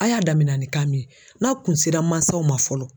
A y'a damina ni kan min ye n'a kun sera mansaw ma fɔlɔ